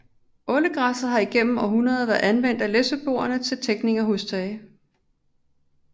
Ålegræsset har igennem århundreder været anvendt af læsøboerne til tækning af hustage